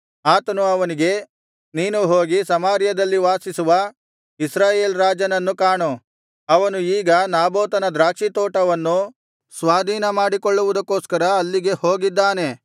ಆತನು ಅವನಿಗೆ ನೀನು ಹೋಗಿ ಸಮಾರ್ಯದಲ್ಲಿ ವಾಸಿಸುವ ಇಸ್ರಾಯೇಲ್ ರಾಜನನ್ನು ಕಾಣು ಅವನು ಈಗ ನಾಬೋತನ ದ್ರಾಕ್ಷಿ ತೋಟವನ್ನು ಸ್ವಾಧೀನ ಮಾಡಿಕೊಳ್ಳುವುದಕ್ಕೋಸ್ಕರ ಅಲ್ಲಿಗೆ ಹೋಗಿದ್ದಾನೆ